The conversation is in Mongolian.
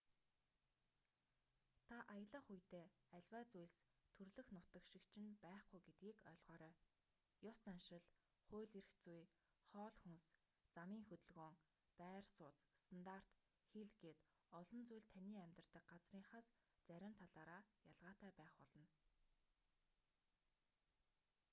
та аялах үедээ аливаа зүйлс төрөлх нутаг шиг чинь байхгүй гэдгийг ойлгоорой ёс заншил хууль эрх зүй хоол хүнс замын хөдөлгөөн байр сууц стандарт хэл гээд олон зүйл таны амьдардаг газрынхаас зарим талаараа ялгаатай байх болно